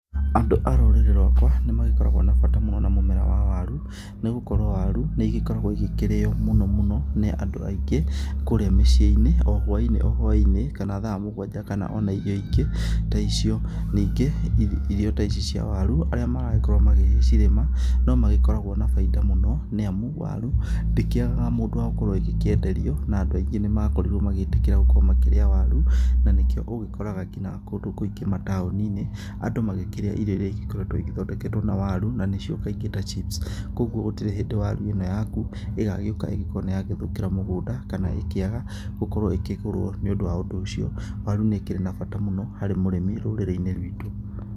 Andũ a rũrĩrĩ rwakwa nĩ magĩkoragwo na bata mũno na mũmera wa waru, nĩ gũkorwo warũ nĩ igĩkoragwo igĩkĩrĩo mũno mũno nĩ andũ aingĩ kũrĩa mĩciĩ-inĩ o hwai-inĩ o hwai-inĩ, kana thaa mũgwanja, kana ona irio ingĩ ta icio. Ningĩ irio ta ici cia waru arĩa maragĩkorwo magĩgĩcirĩma no magĩkoragwo na baida mũno nĩ amu waru ndĩkĩagaga mũndũ wa gũkorwo ĩgĩkĩenderio, na andũ aingĩ nĩ makorĩrwo magĩtĩkĩra gũkorwo makĩrĩa waru, na nĩkĩo ũgĩkoraga kina kũndũ kũingĩ mataoni-inĩ, andũ magĩkĩrĩa irio iria igĩkoretwo igĩthondeketwo na waru, na nĩcio kaingĩ ta chips, koguo gũtirĩ hĩndĩ waru ĩno yaku ĩgagĩũka ikorwo nĩ yagĩthũkĩra mũgũnda, kana ikĩaga gũkorwo nĩ ya kĩgũrwo. Nĩ ũndũ ũcio waru nĩ ĩkĩrĩ na bata mũno harĩ mũrĩmi rũrĩrĩ-inĩ rwitũ.